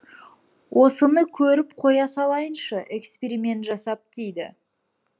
осыны көріп қоя салайыншы эксперимент жасап дейді